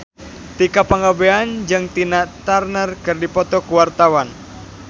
Tika Pangabean jeung Tina Turner keur dipoto ku wartawan